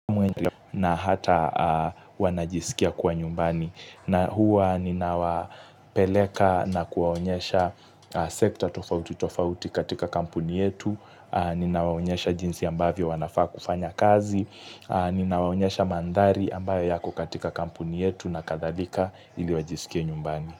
Na hata wanajiskia kuwa nyumbani. Na huwa ninawapeleka na kuwaonyesha sekta tofauti tofauti katika kampuni yetu. Ninawaonyesha jinsi ambavyo wanafaa kufanya kazi. Ninawawonyesha mandhari ambayo yako katika kampuni yetu na kadhalika ili wajisikie nyumbani.